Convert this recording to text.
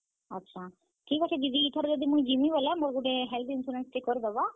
ଆଛା, ଠିକ୍ ଅଛେ ଦିଦି ମୁଇଁ ଇଥର ଯିମି ବେଲେ ମୋର health insurance ଟେ କରିଦେବ।